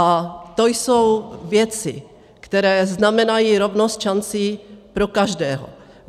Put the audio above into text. A to jsou věci, které znamenají rovnost šancí pro každého.